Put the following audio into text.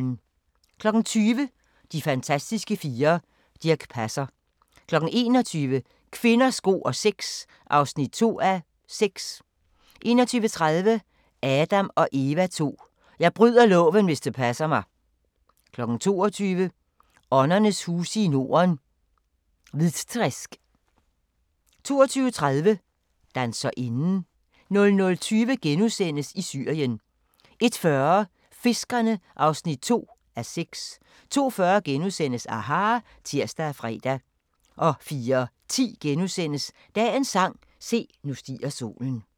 20:00: De fantastiske fire: Dirch Passer 21:00: Kvinder, sko og sex (2:6) 21:30: Adam & Eva II: Jeg bryder loven hvis det passer mig! 22:00: Åndernes huse i Norden – Hvitträsk 22:30: Danserinden 00:20: I Syrien * 01:40: Fiskerne (2:6) 02:40: aHA! *(tir og fre) 04:10: Dagens sang: Se, nu stiger solen *